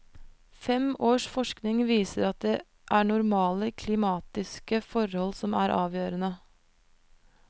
Fem års forskning viser at det er normale klimatiske forhold som er avgjørende.